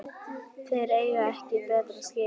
Þeir eiga ekkert betra skilið